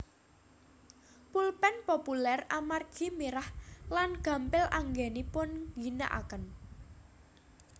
Pulpén populér amargi mirah lan gampil anggenipun ngginakaken